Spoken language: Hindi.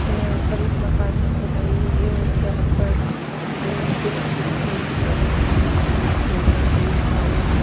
यहां पर एक मकान कि खुदाई हुई है और उसके आसपास लोहे की लातो कीं सेल्टिंग बनाई गयी है और इसके बीम पिअर बीम कलम --